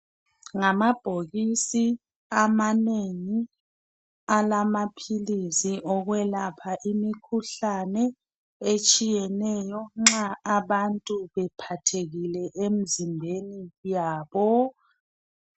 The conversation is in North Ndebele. Ngamabhokisi amanengi alamaphilisi okwelapha imikhuhlane etshiyeneyo nxa abantu bephathekile emzimbeni yabo.